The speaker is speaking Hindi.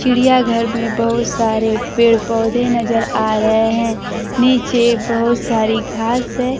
चिड़िया घर में बहोत सारे पेड़ पौधे नजर आ रहे हैं नीचे बहोत सारी घास है।